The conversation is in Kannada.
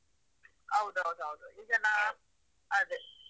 ಹೌದು ಹೌದು ಹೌದು ಹೌದು ಅದೇ.